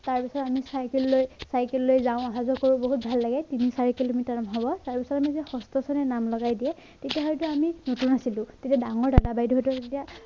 তাৰ বিষয়ে আমি চাইকেল লৈ চাইকেল লৈ যাওঁ অহা যোৱা কৰো বহুত ভাল লাগে তিনি চাৰি কিলোমিটাৰ হব তাৰ পিছত ষষ্ট শ্ৰেণীত নাম লগাই দিয়ে তেতিয়া হয়তো আমি নতুন আছিলো তেতিয়া ডাঙৰ দাদা বাইদেউ তেতিয়া